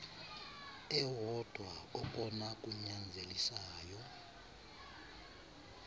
ewodwa okona kunyanzelisayo